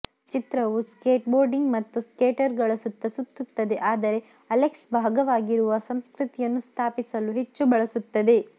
ಚಿತ್ರವು ಸ್ಕೇಟ್ಬೋರ್ಡಿಂಗ್ ಮತ್ತು ಸ್ಕೇಟರ್ಗಳ ಸುತ್ತ ಸುತ್ತುತ್ತದೆ ಆದರೆ ಅಲೆಕ್ಸ್ ಭಾಗವಾಗಿರುವ ಸಂಸ್ಕೃತಿಯನ್ನು ಸ್ಥಾಪಿಸಲು ಹೆಚ್ಚು ಬಳಸುತ್ತದೆ